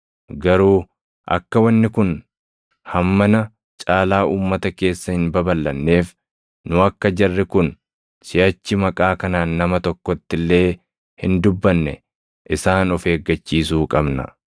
Garuu akka wanni kun hammana caalaa uummata keessa hin babalʼanneef nu akka jarri kun siʼachi maqaa kanaan nama tokkotti illee hin dubbanne isaan of eeggachiisuu qabna.”